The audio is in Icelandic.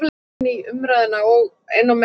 Í hvaða sæti endar Breiðablik í haust?